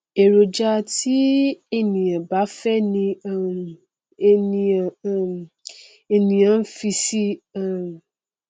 èròjà tí ènìà bá fẹ ni um ènìàn n ènìàn n fi sí i um